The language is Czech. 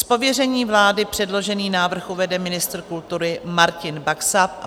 Z pověření vlády předložený návrh uvede ministr kultury Martin Baxa.